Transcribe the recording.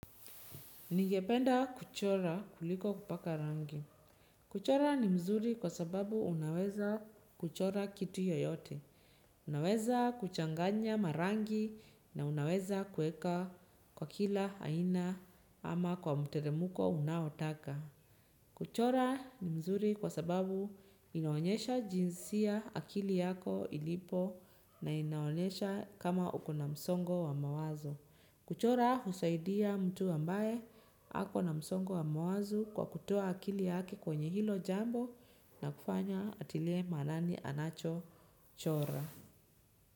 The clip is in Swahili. Ningependa kuchora kuliko kupaka rangi. Kuchora ni mzuri kwa sababu unaweza kuchora kitu yoyote. Unaweza kuchanganya rangi na unaweza kuweka kwa kila aina ama kwa mteremko unaotaka. Kuchora ni mzuri kwa sababu inaonyesha jinsi akili yako ilipo na inaonyesha kama uko na msongo wa mawazo. Kuchora husaidia mtu ambaye ako na msongo wa mwazo kwa kutoa akili yake kwenye hilo jambo na kufanya atilie maanani anachochora.